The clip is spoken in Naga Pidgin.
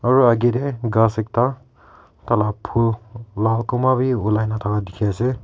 aro akae tae ghas ekta tai la bhul lal kunba bi olaina thaka dikhiase.